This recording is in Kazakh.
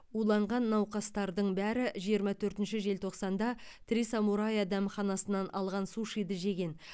уланған науқастардың бәрі жиырма төртінші желтоқсанда три самурая дәмханасынан алған сушиді жеген